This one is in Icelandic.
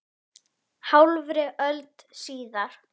Þeir kalla þig zarinn!